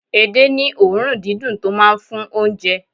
Ede ní òórùn dídùn tó máa ń fún oúnjẹ.